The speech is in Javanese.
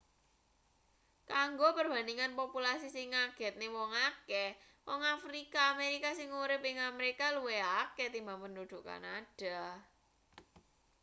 kanggo perbandingan populasi sing ngagetne wong akeh wong afrika amerika sing urip ing amerika luwih akeh tinimbang penduduk kanada